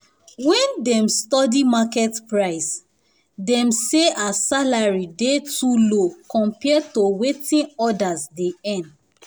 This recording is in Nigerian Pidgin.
when dem study market price dem say her salary dey too low compared to wetin others dey earn.